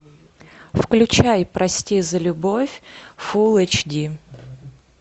включай прости за любовь фул эйч ди